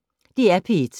DR P1